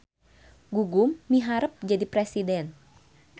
Gugum miharep jadi presiden